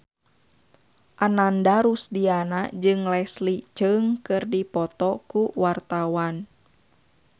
Ananda Rusdiana jeung Leslie Cheung keur dipoto ku wartawan